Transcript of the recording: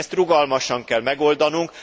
Ezt rugalmasan kell megoldanunk.